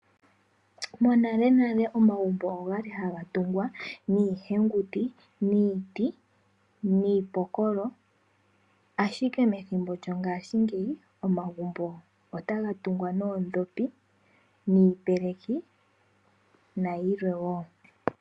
Monalenale omagumbo oga li haga tungwa niihenguti niiti niipokola, ashike methimbo lyongashingeyi omagumbo otaga tungwa noondhopi niipeleki nayilwe wo.